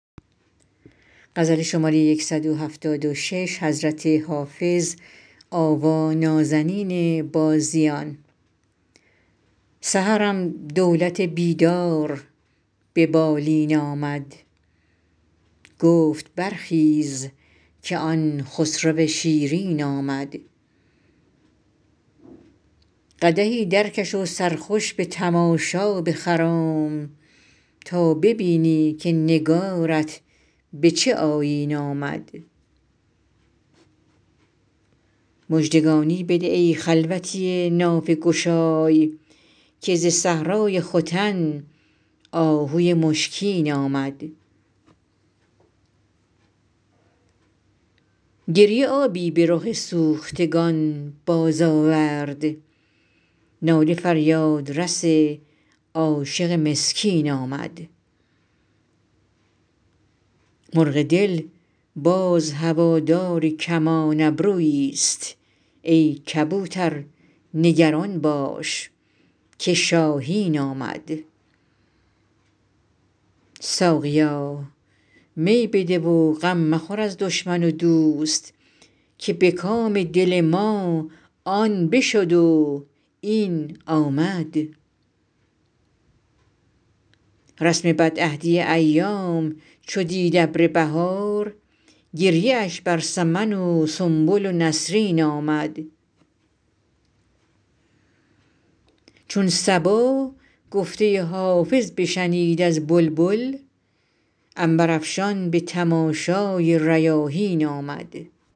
سحرم دولت بیدار به بالین آمد گفت برخیز که آن خسرو شیرین آمد قدحی درکش و سرخوش به تماشا بخرام تا ببینی که نگارت به چه آیین آمد مژدگانی بده ای خلوتی نافه گشای که ز صحرای ختن آهوی مشکین آمد گریه آبی به رخ سوختگان بازآورد ناله فریادرس عاشق مسکین آمد مرغ دل باز هوادار کمان ابروییست ای کبوتر نگران باش که شاهین آمد ساقیا می بده و غم مخور از دشمن و دوست که به کام دل ما آن بشد و این آمد رسم بدعهدی ایام چو دید ابر بهار گریه اش بر سمن و سنبل و نسرین آمد چون صبا گفته حافظ بشنید از بلبل عنبرافشان به تماشای ریاحین آمد